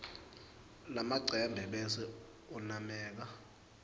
lamacembe bese unameka